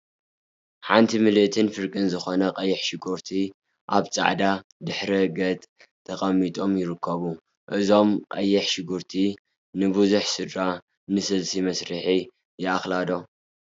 ሓንቲ ምልእቲን ፍርቂን ዝኮና ቀይሕ ሽጉርቲ አብ ፃዕዳ ድሕረ ገፅ ተቀሚጦም ይርከቡ፡፡ እዞም ቀይሕ ሽጉርቲ ንቡዙሕ ስድራ ንስልሲ መስርሒ ይአክላ ዶ?